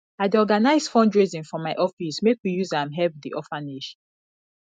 i dey organise fundraising for my office make we use am help di orphanage